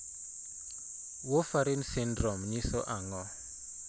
Warfarin syndrome nyiso ang'o?